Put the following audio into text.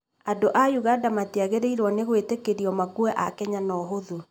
Andũ a ũganda matiagĩrĩirwo nĩ gwĩtĩkĩrio makue a Kenya na ũhũthũ.